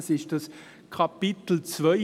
Es ist das Kapitel II.